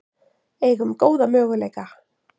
Eigum góða möguleika